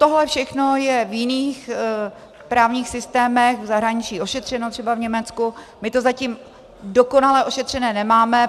Tohle všechno je v jiných právních systémech v zahraničí ošetřeno, třeba v Německu, my to zatím dokonale ošetřené nemáme.